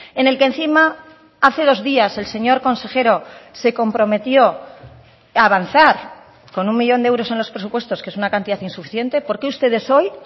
en el que encima hace dos días el señor consejero se comprometió a avanzar con un millón de euros en los presupuestos que es una cantidad insuficiente por qué ustedes hoy